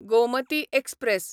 Gomti express